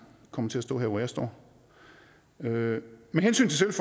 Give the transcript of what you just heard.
kommer til at stå her hvor jeg står med hensyn til